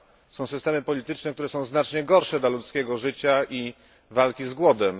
Są systemy polityczne, które są znacznie gorsze dla ludzkiego życia i walki z głodem